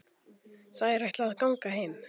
Þær ætla að ganga heim.